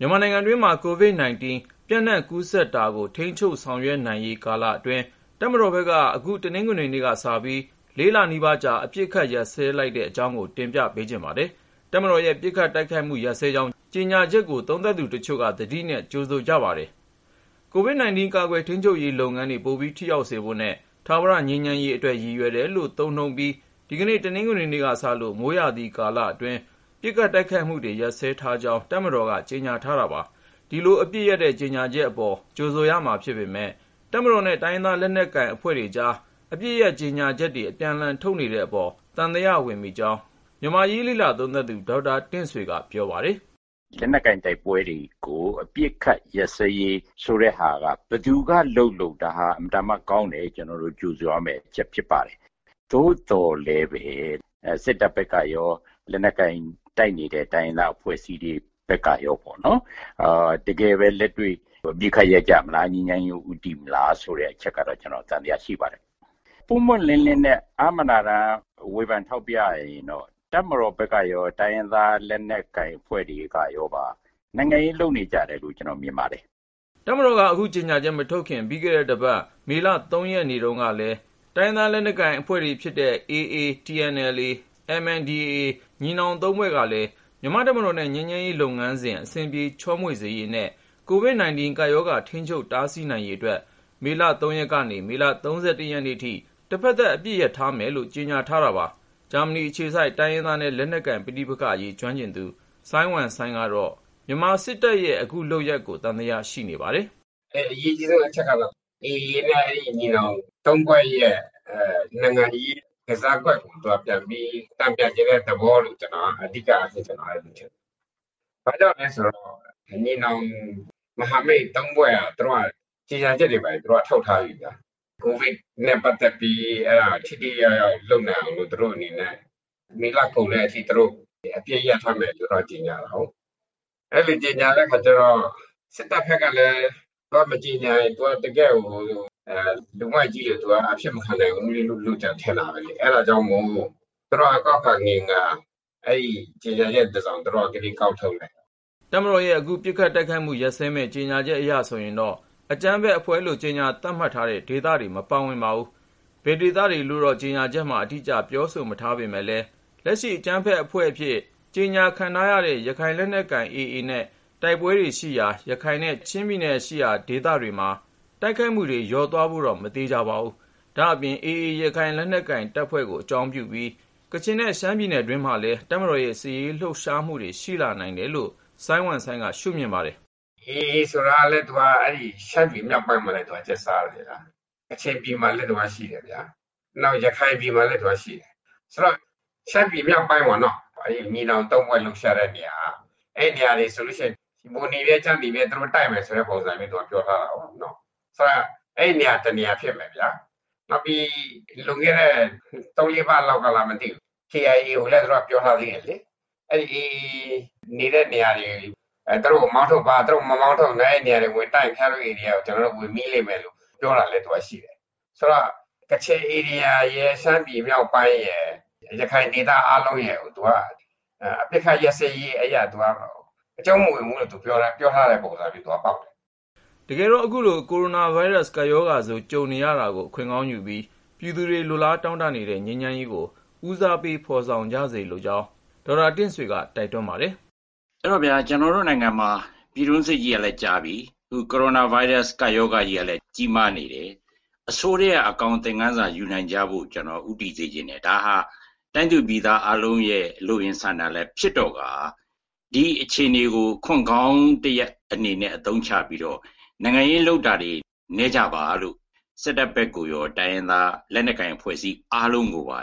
မြန်မာနိုင်ငံတွင်းမှာ COVID-19 ပျံ့နှံ့ကူးစက်မှုကို ထိန်းချုပ်ဆောင်ရွက်ရေး ကာလအတွင်း တပ်မတော်ဘက်က အခု တနင်္ဂနွေနေ့ကစပြီး ၄ လနီးပါးကြာ အပစ်အခတ် ရပ်စဲလိုက်ပါတယ်။ တပ်မတော်ရဲ့ ပစ်ခတ်တိုက်ခိုက်မှု ရပ်စဲကြောင်း ကြေညာချက်ကို သုံးသပ်သူတချို့က သတိနဲ့ ကြိုဆိုပါတယ်။ အပြည့်အစုံကို ကိုဉာဏ်ဝင်းအောင်က ဆက်သွယ်မေးမြန်းပြီး တင်ပြပေးထားပါတယ်။ COVID-19 ကာကွယ်ထိန်းချုပ်ရေး လုပ်ငန်းတွေ ပိုပြီး ထိရောက်စေဖို့နဲ့ ထာဝရ ငြိမ်းချမ်းရေးအတွက် ရည်ရွယ်တယ်လို့ သုံးနှုန်းပြီး ဒီကနေ့ တနင်္ဂနွေနေ့ကစလို့ မိုးရာသီကာလအတွင်း ပစ်ခတ်တိုက်ခိုက်မှု ရပ်စဲကြောင်း တပ်မတော်က ကြေညာထားတာပါ။ ဒီလို အပစ်ရပ်တဲ့ ကြေညာချက်အပေါ် ကြိုဆိုရမှာဖြစ်ပေမယ့် တပ်မတော်နဲ့ တိုင်းရင်းသား လက်နက်ကိုင်အဖွဲ့တွေကြား အပစ်ရပ်ကြေညာချက်တွေ အပြန်အလှန် ထုတ်နေကြတဲ့အပေါ် သံသယဝင်မိကြောင်း မြန်မာ့အရေး လေ့လာသုံးသပ်သူ ဒေါက်တာတင့်ဆွေက ပြောပါတယ်။ "လက်နက်ကိုင် တိုက်ပွဲတွေကို အပစ်အခတ်ရပ်စဲရေး ဆိုတဲ့ဟာက ဘယ်သူကလုပ်လုပ် ဒါဟာ အင်မတန်မှကောင်းလို့ ကျနော်တို့ ကြိုဆိုရမယ့်အချက် ဖြစ်ပါတယ်။ သို့သော်လည်းပဲ စစ်တပ်ဘက်ကရော လက်နက်ကိုင် တိုက်နေတဲ့ တိုင်းရင်းသား အဖွဲ့အစည်းတွေဘက်ကရောပေါ့နော် တကယ်ပဲ လက်တွေ့ အပစ်အခတ် ရပ်ကြမလား၊ ငြိမ်းချမ်းရေးကို ဦးတည်ကြမလား ဆိုတဲ့ အချက်ကတော့ ကျနော် သံသယရှိပါတယ်။ ပွင့်ပွင့်လင်းလင်းနဲ့ အားမနာတမ်း ဝေဖန်ထောက်ပြရရင် တပ်မတော်ဘက်ကရော တိုင်းရင်းသား လက်နက်ကိုင် အဖွဲ့တွေကပါ နိုင်ငံရေးလုပ်နေကြတယ်လို့ ကျနော်မြင်ပါတယ်။" တပ်မတော်က အခုကြေညာချက် မထုတ်ခင် ပြီးခဲ့တဲ့တပတ် မေလ ၃ ရက်နေ့တုန်းကလည်း AA ရခိုင်၊ TNLA တအောင်းပလောင်နဲ့ MNDAA ကိုးကန့် လက်နက်ကိုင် ညီနောင် ၃ ဖွဲ့ကလည်း မြန်မာ့တပ်မတော်နဲ့ ငြိမ်းချမ်းရေးလုပ်ငန်းစဉ် အဆင်ပြေ ချောမွေ့စေရေးနဲ့ COVID-19 ကပ်ရောဂါ ထိန်းချုပ်တားဆီးနိုင်ရေးအတွက် မေလ ၃ ရက်ကနေ မေလ ၃၁ ရက်အထိ တဖက်သတ် အပစ်ရပ်ထားမယ်လို့ ကြေညာထားခဲ့တာပါ။ ဂျာမနီအခြေစိုက် တိုင်းရင်းသားနဲ့ လက်နက်ကိုင် ပဋိပက္ခအရေး ကျွမ်းကျင်သူ စိုင်းဝမ်စိုင်းကတော့ မြန်မာစစ်တပ်ရဲ့ အခုလုပ်ရပ်ကို သံသယ ရှိနေပါတယ်။ "အရေးကြီးဆုံး အချက်ကတော့ အဲဒီ AA နဲ့ ညီနောင် ၃ ဖွဲ့ရဲ့ နိုင်ငံရေးကစားကွက်ကို သူတို့က ပြန်ပြီး တန်ပြန်ချင်တဲ့သဘောလို့ မြင်ပါတယ်။ ဘာ့ကြောင့်လဲဆိုတော့ ညီနောင် မဟာမိတ် ၃ ဖွဲ့ဟာ ကြေညာချက်တွေဘာတွေ သူတို့က ထုတ်ထားပြီးပြီဗျာ၊ ကိုဗစ်နဲ့ပတ်သက်ပြီး ထိထိရောက်ရောက် လုပ်နိုင်အောင်လို့ သူတို့အနေနဲ့ မေလကုန်အထိ အပစ်ရပ်ထားမယ်လို့ သူတို့က ကြေညာထားတာကိုး။ အဲလို ကြေညာတဲ့အခါကျတော့ စစ်တပ်ဘက်ကလည်း သူတို့ မကြေညာပြန်ရင် သူတို့က တကယ့်လူမိုက်ကြီးလို သူတို့ အဖြစ်မခံနိုင်ဘူးလေ။ အဲဒါကြောင့်မို့ စစ်တပ်က ကောက်ခါငင်ခါ ကြေညာချက်တစောင်ကို ဒီနေ့ ကောက်ထုတ်လိုက်တာ။" တပ်မတော်ရဲ့ အခု ပစ်ခတ်တိုက်ခိုက်မှု ရပ်စဲမယ့် ကြေညာချက်အရ ဆိုရင်တော့ အကြမ်းဖက်အဖွဲ့အဖြစ် ကြေညာထားတဲ့ အဖွဲ့တွေရှိရာ ဒေသတွေ မပါပါဘူး။ ဘယ်ဒေသတွေလို့တော့ ကြေညာချက်မှာ အတိအကျ ပြောဆိုမထားပေမယ့်လည်း လက်ရှိ အကြမ်းဖက်အဖွဲ့အဖြစ် ကြေညာခံထားရတဲ့ ရခိုင်လက်နက်ကိုင်တပ် AA နဲ့ တိုက်ပွဲတွေရှိရာ ရခိုင်နဲ့ ချင်းပြည်နယ်တွင်းက ဒေသတွေ တိုက်ခိုက်မှု လျော့သွားဖို့တော့ မသေချာပါဘူး။ ဒါ့အပြင် AA ရခိုင်လက်နက်ကိုင်တပ်ကို အကြောင်းပြုပြီး ကချင်နဲ့ ရှမ်းပြည်တွင်းမှာလည်း တပ်မတော်ရဲ့ စစ်ရေးလှုပ်ရှားမှု ရှိလာနိုင်တယ်လို့ စိုင်းဝမ်စိုင်းက ရှုမြင်ပါတယ်။ "AA ဆိုတာကလည်း အဲဒီ ရှမ်းပြည်မြောက်ပိုင်းမှာလည်း သူတို့က ကျက်စားတာ၊ ကချင်ပြည်မှာလည်း သူကရှိတယ်၊ နောက် ရခိုင်ပြည်မှာလည်း သူကရှိတယ်။ ဆိုတော့ ရှမ်းပြည်မြောက်ပိုင်းပေါ့ ညီနောင်သုံးဖွဲ့ လှုပ်ရှားတဲ့နေရာက အဲဒီနေရာတွေကို ပိုနေမြဲ ကျားနေမြဲ သူတို့ တိုက်မယ်ဆိုတဲ့သဘောမျိုး ပြောထားတာကိုး။ ဆိုတော့ အဲဒီ တနေရာမှာ ဖြစ်မယ်ဗျာ။ နောက်ပြီး လွန်ခဲ့တဲ့ သုံးလေးပတ်လောက်က KIA ကိုလည်း သူတို့က ပြောထားပြီးပြီလေ။ AA နေတဲ့ နေရာတွေ သူတို့ကို မောင်းထုတ်ပါ၊ မမောင်းထုတ်လို့ အဲဒီနေရာတွေကို ဝင်တိုက်ခဲ့ရင် ခင်ဗျားတို့ဧရိယာကို ကျနော်တို့ ဝင်မိလိမ့်မယ်လို့ ပြောထားတာလည်း ရှိတယ်။ ဆိုတော့ ကချင်ဧရိယာရယ်၊ ရှမ်းမြောက်ပိုင်းရယ်၊ ရခိုင်ဒေသ အားလုံးရယ်ကို သူက အပစ်ခတ်ရပ်စဲရေးအရ အကျုံးမဝင်ဘူးလို့ သူတို့ ပြောထားတဲ့သဘော ဖြစ်နေတယ်။" တကယ်တော့ အခုလို ကိုရိုနာဗိုင်းရပ်စ် ကပ်ရောဂါဆိုး ကြုံနေရတာကို အခွင့်ကောင်းယူပြီး ပြည်သူတွေ လိုလားတောင့်တနေတဲ့ ငြိမ်းချမ်းရေးကို ဦးစားပေး ဖော်ဆောင်ကြစေလိုကြောင်း ဒေါက်တာတင့်ဆွေက တိုက်တွန်းပါတယ်။ "ကျနော်တို့နိုင်ငံမှာ ပြည်တွင်းစစ်ကြီးကလည်း ကြာနေပြီ။ အခု ကိုရိုနာဗိုင်းရပ်စ် ကပ်ရောဂါကလည်း ကြီးမားနေတယ်။ အဆိုးထဲက အကောင်း သင်ခန်းစာယူနိုင်ကြဖို့ ဦးတည်စေချင်တယ်။ ဒါဟာ တိုင်းသူပြည်သား အားလုံးရဲ့ လိုအင်ဆန္ဒလည်း ဖြစ်တော့ကာ ဒီအခြေအနေကို အခွင့်ကောင်းတရပ်အနေနဲ့ အသုံးချပြီးတော့ နိုင်ငံရေးလုပ်နေတာတွေ နည်းကြပါလို့ စစ်တပ်ဘက်ကိုရော တိုင်းရင်းသား လက်နက်ကိုင် အဖွဲ့အစည်း အားလုံးကိုပါ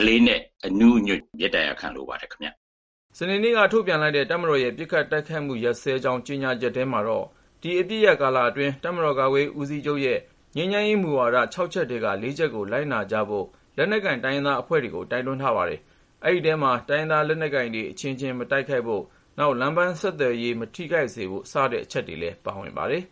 အလေးအနက် အနူးအညွတ် မေတ္တာရပ်ခံလိုပါတယ်ခင်ဗျာ။" စနေနေ့က ထုတ်ပြန်လိုက်တဲ့ တပ်မတော်ရဲ့ ပစ်ခတ်တိုက်ခိုက်မှု ရပ်စဲကြောင်း ကြေညာချက်ထဲမှာတော့ ဒီ အပစ်ရပ်ကာလအတွင်း ကာကွယ်ရေးဦးစီးချုပ်ရဲ့ ငြိမ်းချမ်းရေးမူဝါဒ ၆ ချက်ထဲက ၄ ချက်ကို လိုက်နာကြဖို့ လက်နက်ကိုင် တိုင်းရင်းသားအဖွဲ့တွေကို တိုက်တွန်းထားပါတယ်။ ဒီထဲမှာတော့ တိုင်းရင်းသား လက်နက်ကိုင်တွေ အချင်းချင်း မတိုက်ခိုက်ဖို့၊ နောက် လမ်းပန်းဆက်သွယ်ရေး မထိခိုက်စေဖို့ စတဲ့အချက်တွေလည်း ပါဝင်ပါတယ်